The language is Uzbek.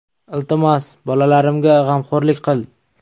Iltimos, bolalarimga g‘amxo‘rlik qil”.